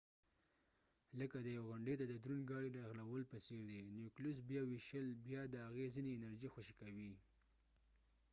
لکه د یوې غونډۍ ته د دروند ګاډۍ رغړولو په څیر دي نیوکلیوس بیا ویشل بیا د هغې ځینې انرژي خوشې کوي